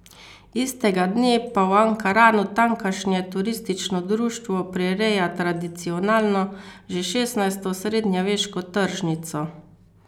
Istega dne pa v Ankaranu tamkajšnje turistično društvo prireja tradicionalno, še šestnajsto srednjeveško tržnico.